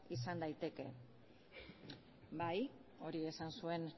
izan daitezke bai hori esan zuen